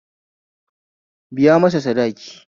Biya masa sadaki